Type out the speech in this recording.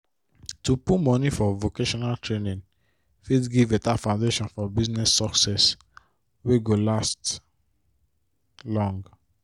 to put money for vocational training fit give better foundation for business success wey go last long